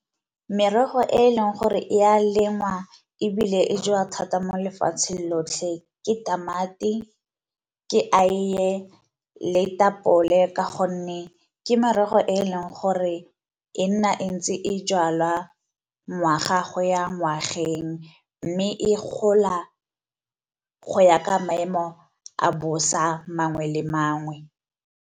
Merogo e e leng gore e a lengwa ebile e jewa thata mo lefatsheng lotlhe ke tamati, ke aiye, le ditapole ka gonne ke merogo e gore e nna e ntse e jalwa ngwaga go ya ngwageng, mme e gola go ya ka maemo a bosa mangwe le mangwe.